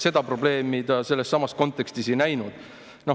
Seda probleemi ta sellessamas kontekstis ei näinud.